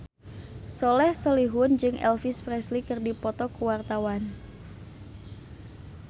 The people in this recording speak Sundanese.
Soleh Solihun jeung Elvis Presley keur dipoto ku wartawan